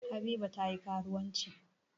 Habiba ta yi karuwanci.